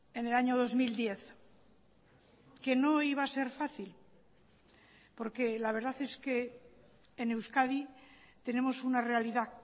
en el año dos mil diez que no iba a ser fácil porque la verdad es que en euskadi tenemos una realidad